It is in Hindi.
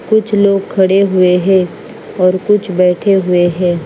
कुछ लोग खड़े हुए हैं और कुछ बैठे हुए हैं।